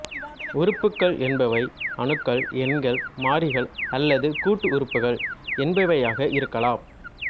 உறுப்புகள் என்பவை அணுக்கள் எண்கள் மாறிகள் அல்லது கூட்டு உறுப்புகள் என்பவையாக இருக்கலாம்